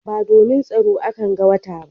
Ba domin tsaro a kan ga wata ba